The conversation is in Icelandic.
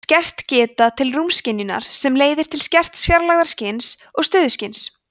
skert geta til rúmskynjunar sem leiðir til skerts fjarlægðarskyns og stöðuskyns